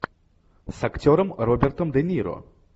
с актером робертом де ниро